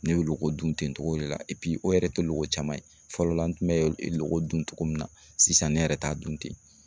Ne bɛ loko dun ten togo de la o yɛrɛ tɛ loko caman ye, fɔlɔ la n tun bɛ loko dun togo min na, sisan ne yɛrɛ t'a dun ten.